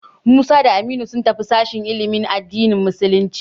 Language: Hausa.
Musa da Aminu sun tafi sashen ilimin addinin musulunci.